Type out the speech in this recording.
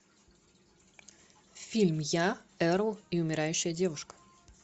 фильм я эрл и умирающая девушка